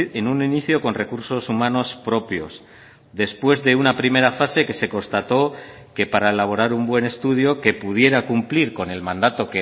en un inicio con recursos humanos propios después de una primera fase que se constató que para elaborar un buen estudio que pudiera cumplir con el mandato